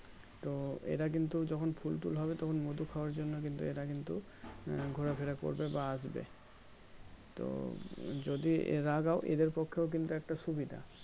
তো এরা কিন্তু যখন ফুল টুল হবে তখন মধু খাবার জন্য কিন্তু এরা কিন্তু ঘোরাফিরা করবে বা আসবে তো যদি লাগাও এদের পক্ষেও কিন্তু একটা সুবিধা